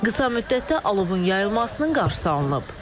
Qısa müddətdə alovun yayılmasının qarşısı alınıb.